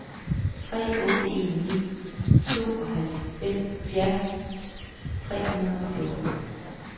tre otte en ni tooghalvfjerds tre hundrede og fjorten